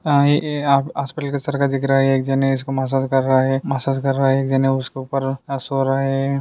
काहे ये आ हॉस्पिटल सारखा दिख रहा है एक जन है इसको मसाज कर रहा है मसाज कर रहा है एक जन है उसके उपर सो रहा है।